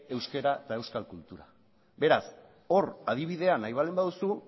euskera eta euskal kultura beraz hor adibidea nahi baldin baduzu